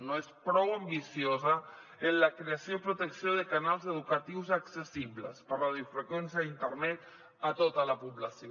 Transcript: no és prou ambiciosa en la creació i protecció de canals educatius accessibles per radiofreqüència i internet a tota la població